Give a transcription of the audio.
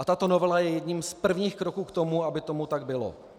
A tato novela je jedním z prvních kroků k tomu, aby tomu tak bylo.